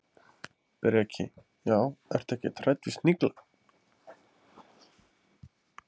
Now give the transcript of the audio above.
Breki: Já, ertu ekkert hrædd við snigla?